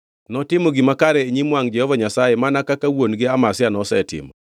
Notimo gima kare e nyim wangʼ Jehova Nyasaye, mana kaka wuon-gi Amazia nosetimo.